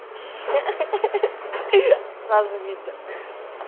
ха ха ха ха сразу видно